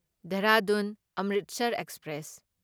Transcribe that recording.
Dehradun Amritsar express